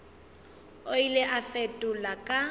o ile a fetola ka